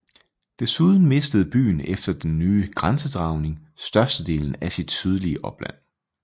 Desuden mistede byen efter den nye grænsedragning størstedelen af sit sydlige opland